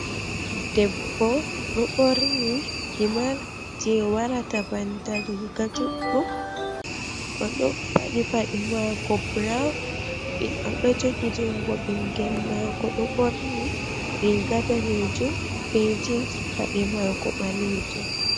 Debbo ɗo ɓorni himar je warata banta riga juɗɗum. Odo paɗi paɗe mako brown, oɗo jogi jungo ɓingel mako ɗo ɓorni riga danejum be jeans. paɗe mako ɓalejum.